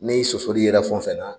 Ne sɔsɔli yela fɛn o fɛn na